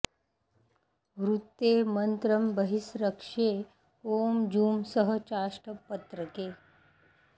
वृत्ते मन्त्रं बहिस्त्र्यश्रे ॐ जुं सः चाष्ट पत्रके